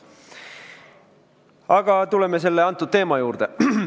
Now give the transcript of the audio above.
Aga tuleme teema juurde.